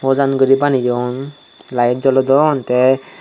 bojan guri baneyun light jolodon teh.